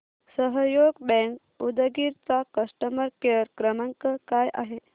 सहयोग बँक उदगीर चा customer care क्रमांक काय आहे